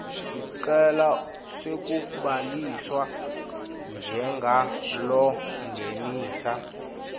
sicelo sekubhaliswa njengalongenisa